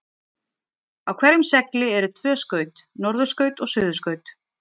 Á hverjum segli eru tvö skaut, norðurskaut og suðurskaut.